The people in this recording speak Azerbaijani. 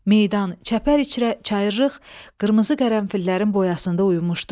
Meydan çayırlıq, qırmızı qərənfillərin boyasında uyumuşdu.